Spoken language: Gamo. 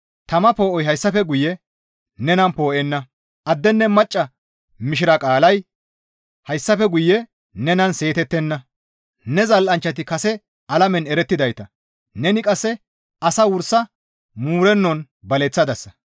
Tama poo7oy hayssafe guye nenan poo7enna; addenne macca mishira qaalay hayssafe guye nenan seetettenna; ne zal7anchchati kase alamen erettidayta; neni qasse asaa wursa muurennon baleththadasa.